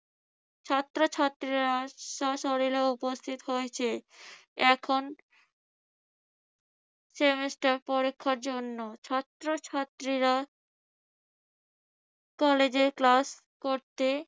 ছাত্রছাত্রীরা স্বশরীরে উপস্থিত হয়েছে। এখন semester পরীক্ষার জন্য ছাত্রছাত্রীরা কলেজে class করতে